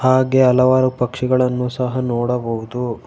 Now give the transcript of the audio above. ಹಾಗೆ ಹಲವರು ಪಕ್ಷಿಗಳನ್ನು ಸಹ ನೋಡಬಹುದು.